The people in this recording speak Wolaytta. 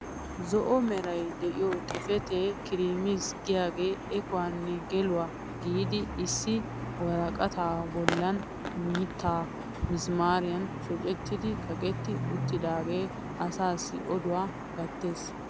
zo'o meray diyo xifatee kiriimis giyaage ekuwanne geluwa giidi issi woraqataa bolan mitam misimaariyan shocettidi kaqetti utidaagee asaassi oduwa gatees.